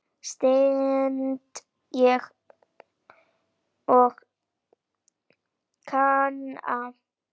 stend ég og kanna.